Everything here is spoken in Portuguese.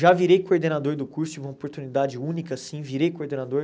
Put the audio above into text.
Já virei coordenador do curso, tive uma oportunidade única, sim, virei coordenador.